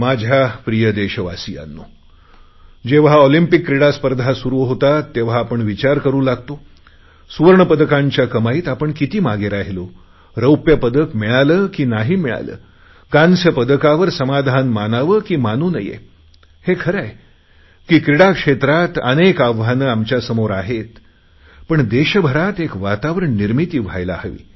माझ्या प्रिय देशवासियांनो जेव्हा ऑलिम्पिक क्रीडा स्पर्धा सुरु होता तेव्हा आपण विचार करु लागतो की सुवर्णपदकांच्या कमाईत आपण किती मागे राहिलो रौप्य पदक मिळाले की नाही मिळाले कास्य पदकावर समाधान मानावे की मानू नये हे खरे आहे की क्रीडा क्षेत्रात अनेक आव्हाने आमच्यासमोर आहेत पण देशभरात एक वातावरण निर्मिती व्हायला हवी